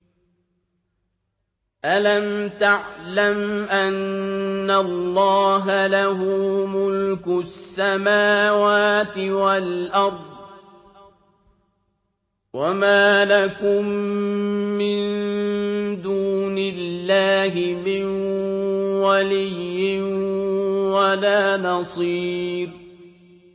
أَلَمْ تَعْلَمْ أَنَّ اللَّهَ لَهُ مُلْكُ السَّمَاوَاتِ وَالْأَرْضِ ۗ وَمَا لَكُم مِّن دُونِ اللَّهِ مِن وَلِيٍّ وَلَا نَصِيرٍ